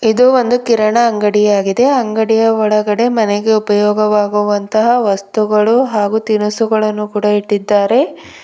ಇದು ಒಂದು ಕಿರಣ ಅಂಗಡಿಯಾಗಿದೆ ಅಂಗಡಿಯ ಒಳಗಡೆ ಮನೆಗೆ ಉಪಯೋಗವಾಗುವಂತಹ ವಸ್ತುಗಳು ಹಾಗೂ ತಿನಿಸುಗಳನ್ನು ಕೂಡ ಇಟ್ಟಿದ್ದಾರೆ.